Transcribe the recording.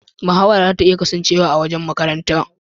Mahawara zata iya kasancewa a wajen makaranta.